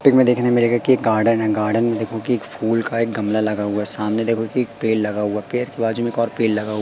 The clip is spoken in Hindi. पिक में देखने मिलेगा कि एक गार्डन है गार्डन में देखोगी एक फूल का एक गमला लगा हुआ है सामने देखोगी की एक पेड़ लगा हुआ पेड़ के बाजू में एक ओर पेड़ लगा हुआ--